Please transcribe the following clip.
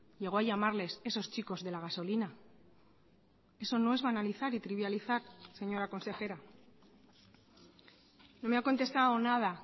llegó a llamarles esos chicos de la gasolina eso no es banalizar y trivializar señora consejera no me ha contestado nada